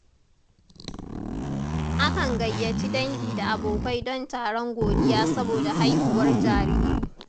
Akan gayyaci dangi da abokai don taron godiya saboda haihuwar jariri.